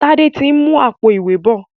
Tade tí ń mú Àpò-ìwé bọ